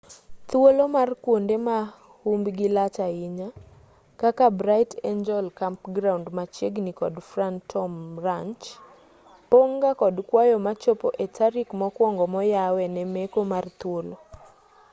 thuolo mar kuonde ma humbgi lach ahinya kaka bright angel campground machiegni kod phantom ranch pong' ga kod kwayo machopo e tarik mokuongo moyawe ne meko mar thuolo